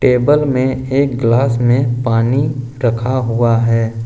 Table में एक glass में पानी रखा हुआ है।